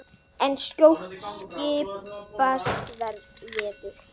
En skjótt skipast veður.